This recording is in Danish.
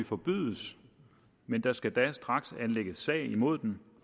forbydes men der skal da straks anlægges sag imod den